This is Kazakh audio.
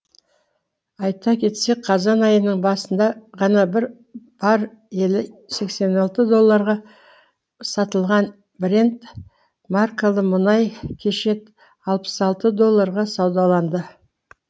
айта кетсек қазан айының басында ғана бір баррелі сексен алты долларға сатылған брент маркалы мұнай кеше алпыс алты долларға саудаланды